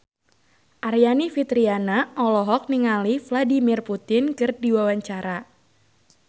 Aryani Fitriana olohok ningali Vladimir Putin keur diwawancara